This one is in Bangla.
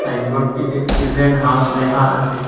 বোর্ডটিতে চিলড্রেন হাউস লেখা আসে।